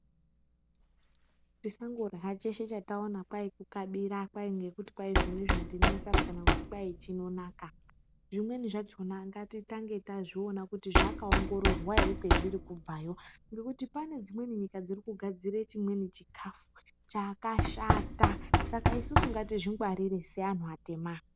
Tisandorya cheshe chataona kwai kukabira kwai ngekuti zvoni zvoni ndine nzara kana kuti kwai chinonaka zvimweni zvachona ngatitange tamboona kuti zvakaongororwa ere kwazviri kubvayo ngekuti pane dzimweni nyika dzirikugadzira chimweni chikafu chakashata saka isusu ngatidzingwarire seantu atema.